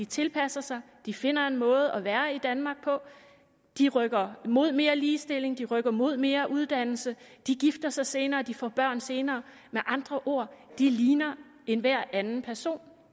tilpasser sig de finder en måde at være i danmark på de rykker mod mere ligestilling de rykker mod mere uddannelse de gifter sig senere de får børn senere med andre ord de ligner enhver anden person